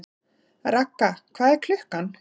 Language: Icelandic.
Ragga, hvað er klukkan?